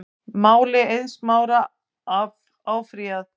Máli Eiðs Smára áfrýjað